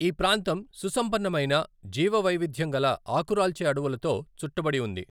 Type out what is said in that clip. ఈ ప్రాంతం సుసంపన్నమైన జీవవైవిధ్యం గల ఆకురాల్చే అడవులతో చుట్టబడి ఉంది.